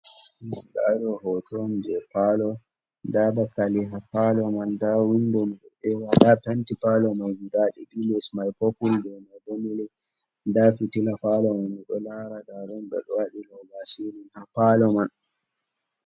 Ndaa ɗoo hooto on jey paalo, ndaa dakali ha paalo man, ndaa "wunndo" mi ɗo ƴeewa, ndaa "penti" paalo may "gudaa" ɗiɗi, lees may "popul" dow may bo "milik". Ndaa fitila "paalo" man mi ɗo laara, ndaa ɗum ɓe waɗi "roobaa silin" ha "paalo" man.